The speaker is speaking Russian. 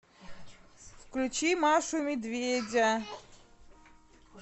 включи машу и медведя